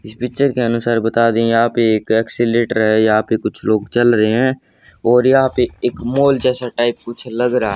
इस पिक्चर के अनुसार बता दे यहां पर एक एक्सेलेरेटर है। यहां पे कुछ लोग चल रहे हैं और यहां पे एक मॉल जैसा टाइप कुछ लोग रहा है।